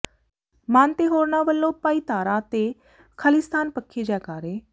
ਮਾਨ ਤੇ ਹੋਰਨਾਂ ਵਲੋਂ ਭਾਈ ਤਾਰਾ ਤੇ ਖਾਲਿਸਤਾਨ ਪੱਖੀ ਜੈਕਾਰੇ